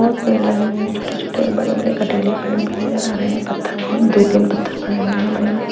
बहुत पेड़ लगे हुए हैं छोटे-छोटे और बड़े-बड़े कटेले पेड़ भी नजर आ रहे हैं पत्थर बहुत दो तीन पत्थर पड़े हुए है बड़े-बड़े ।